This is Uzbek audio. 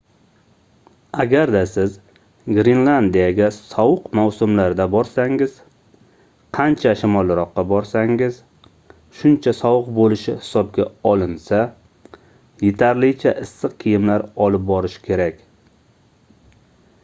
agarda siz grenlandiyaga sovuq mavsumlarda borsangiz qancha shimolroqqa borsangiz shuncha sovuq bo'lishi hisobga olinsa yetarlicha issiq kiyimlar olib borish kerak